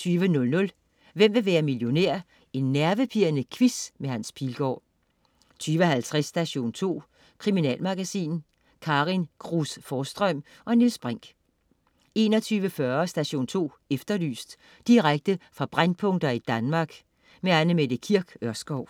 20.00 Hvem vil være millionær? Nervepirrende quiz med Hans Pilgaard 20.50 Station 2. Kriminalmagasin. Karin Cruz Forsstrøm og Niels Brinch 21.40 Station 2 Efterlyst. Direkte fra brændpunkter i Danmark. Anne Mette Kirk Ørskov